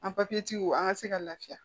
An an ka se ka lafiya